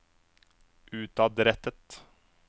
utadrettet